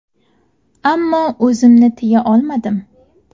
Ammo o‘zimni tiya olmadim.